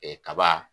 kaba